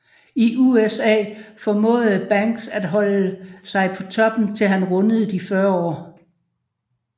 I USA formåede Banks at holde sig på toppen til han rundede de 40 år